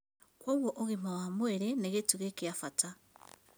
Kwoguo ũgima wa mwĩrĩ nĩ gĩtugĩ kĩa bata